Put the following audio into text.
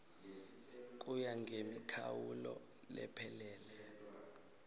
kuya ngemikhawulo lephelele